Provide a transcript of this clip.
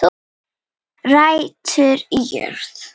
Rætur í jörð